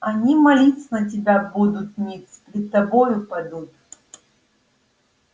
они молиться на тебя будут ниц пред тобою падут